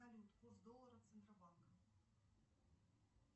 салют курс доллара центробанка